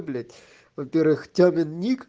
блять во-первых тёмин ник